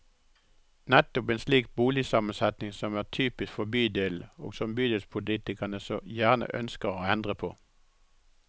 Nettopp en slik boligsammensetning som er typisk for bydelen og som bydelspolitikerne så gjerne ønsker å endre på.